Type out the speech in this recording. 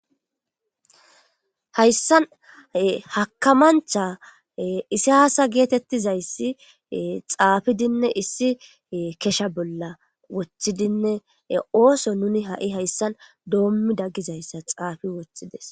hayssan hakamancha isasa geetettizayssi xaafidinne issi kesha bolla woththidinne ooso nuni ha'i hayssan doommida gizayssa xaafi woththides